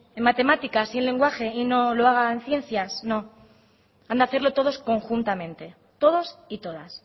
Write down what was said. en matemáticas y en lenguaje y no lo haga en ciencias no han de hacerlo todos conjuntamente todos y todas